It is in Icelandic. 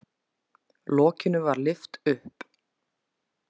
Lokinu var lyft upp.